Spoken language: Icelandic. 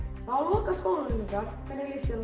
það á að loka skólanum ykkar hvernig líst þér